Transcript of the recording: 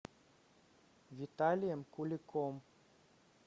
виталием куликом